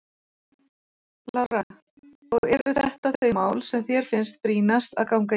Lára: Og eru þetta þau mál sem þér finnst brýnast að ganga í?